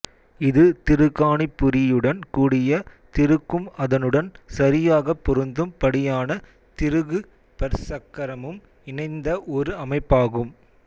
இது திருகாணிப்புரியுடன் கூடிய திருகும் அதனுடன் சரியாகப் பொருந்தும் படியான திருகு பற்சக்கரமும் இணைந்த ஒரு அமைப்பாகும்